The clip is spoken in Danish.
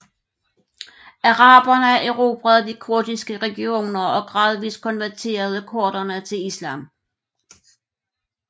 Araberne erobrede de kurdiske regioner og gradvis konverterede kurderne til Islam